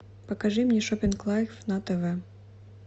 покажи мне шопинг лайф на тв